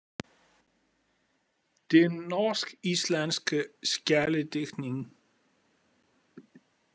Den norsk- islandske skjaldedigtning.